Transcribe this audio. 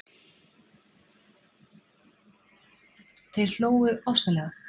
Þeir hlógu ofsalega.